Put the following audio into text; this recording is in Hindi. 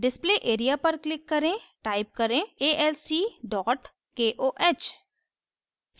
display area पर click करें type करें alc koh